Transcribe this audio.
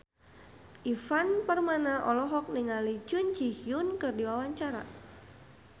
Ivan Permana olohok ningali Jun Ji Hyun keur diwawancara